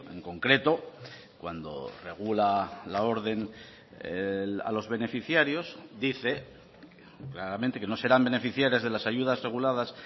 en concreto cuando regula la orden a los beneficiarios dice claramente que no serán beneficiarias de las ayudas reguladas